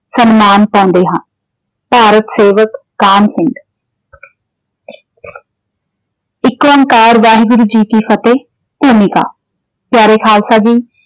ਸਨਮਾਨ ਪਾਉਂਦੇ ਹਨ। ਭਾਰਤ ਸੇਵਕ ਕਾਹਨ ਸਿੰਘ ਏਕੋ ਓਕਾਰ ਵਾਹਿਗੁਰੂ ਜੀ ਕੀ ਫਤਿਹ । ਭੂਮਿਕਾ ਪਿਆਰੇ ਖਾਲਸਾ ਜੀ।